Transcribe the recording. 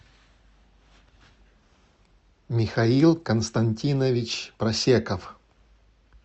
михаил константинович просеков